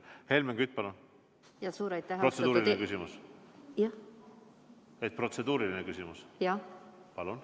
Helmen Kütt, palun, protseduuriline küsimus!